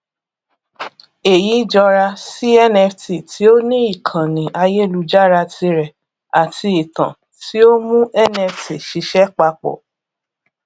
èyí jọra sí nft tí ó ní ìkànnì ayélujára tirẹ àti ìtàn tí ó mú nft ṣiṣẹ papọ